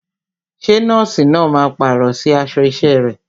Ṣé nọ́ọ̀sì náà máa pàrọ̀ sí aṣọ isẹ rẹ̀?